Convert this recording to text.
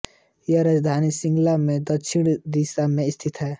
यह राजधानी शिलांग से दक्षिण दिशा में स्थित है